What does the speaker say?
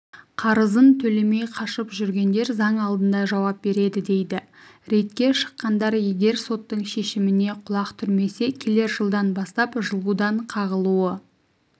қарызын төлемей қашып жүргендер заң алдында жауап береді дейді рейдке шыққандар егер соттың шешіміне құлақ түрмесе келер жылдан бастап жылудан қағылуы